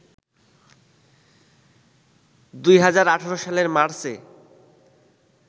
২০১৮ সালের মার্চে